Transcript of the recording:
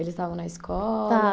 Eles estavam na escola? Estavam